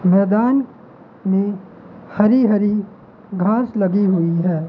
मैदान में हरी हरी घास लगी हुई हैं।